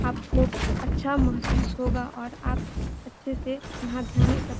आप को अच्छा महसूस होगा और आप अच्छे से यहाँ ध्यान एकत्र --